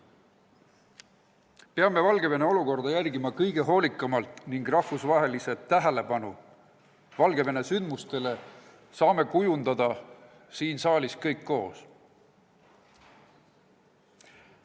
Peame Valgevene olukorda hoolikalt jälgima ning rahvusvahelise tähelepanu Valgevene sündmustele saame kujundada siin saalis kõik koos.